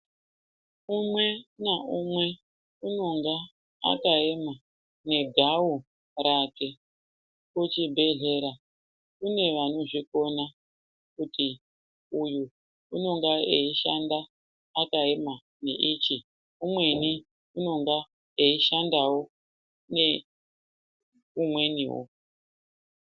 Umwe naumwe unenge akaema negau rake. Kuchibhedhlera kune vanozvikona kuti uyu unonga eishanda akaema neichi. Umweni unonga eishandawo neumweniwo.